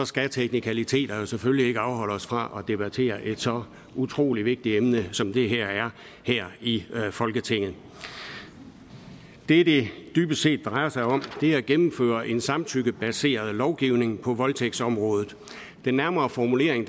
skal teknikaliteterne selvfølgelig ikke afholde os fra at debattere et så utrolig vigtig emne som det her er her i folketinget det det dybest set drejer sig om er at gennemføre en samtykkebaseret lovgivning på voldtægtsområdet den nærmere formulering